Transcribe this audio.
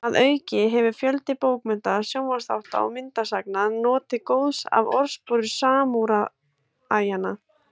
Að auki hefur fjöldi bókmennta, sjónvarpsþátta og myndasagna notið góðs af orðspori samúræjanna.